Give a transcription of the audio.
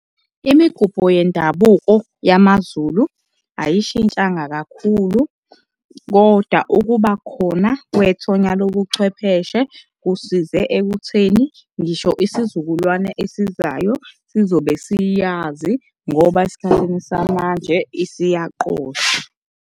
Imigubho yendabuko yamaZulu ayishintshanga kakhulu, kodwa ukuba khona kwethonya lobuchwepheshe kusize ekutheni ngisho isizukulwane esizayo sizobe siyazi ngoba esikhathini samanje isiyaqoshwa.